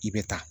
I bɛ taa